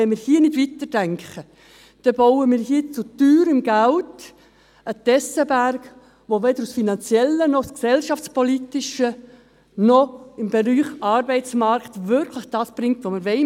Wenn wir hier jedoch nicht weiterdenken, bauen wir mit teurem Geld einen Tessenberg, der weder finanziell noch gesellschaftspolitisch noch im Bereich Arbeitsmarkt wirklich das bringt, was wir wollen.